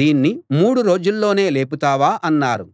దీన్ని మూడు రోజుల్లోనే లేపుతావా అన్నారు